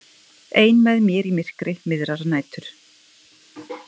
Ein með mér í myrkri miðrar nætur.